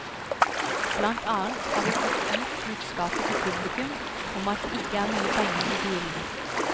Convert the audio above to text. Blant annet har vi fått ut budskapet til publikum om at det ikke er mye penger i bilene.